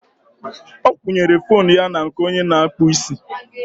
ọ kwụnyere foonu ya na nke onye na-akpụ isi